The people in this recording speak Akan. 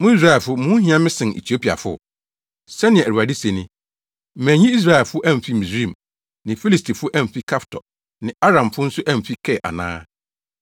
“Mo Israelfo, mo ho hia me sen Etiopiafo?” Sɛnea Awurade se ni. Manyi Israelfo amfi Misraim, ne Filistifo amfi Kaftor, ne Aramfo nso amfi Kir ana?